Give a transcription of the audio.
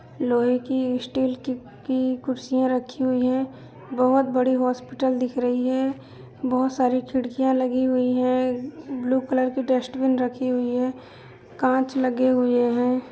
लोहे की स्टील कि की कुर्सियां रखी हुई हैं। बोहुत बड़ी हॉस्पिटल दिख रही है। बोहुत सारी खिड़कियां लगी हुइ हैं। ब्लू कलर कि डस्टबिन रखी हुई है। कांच लगे हुए हैं।